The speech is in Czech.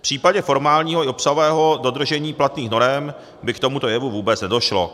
V případě formálního i obsahového dodržení platných norem by k tomuto jevu vůbec nedošlo."